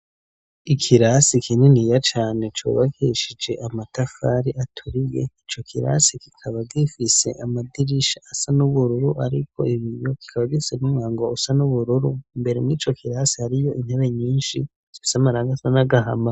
Ikirasi kininiya cane cubakeshije amatafari aturiye, ico kirasi kikaba gifise amadirisha asa n'ubururu ariko ibiyo, kikaba gifise n' umwango usa n'ubururu, imbere y' ico kirasi hariyo intebe nyinshi zifise amarangi asa n'agahama.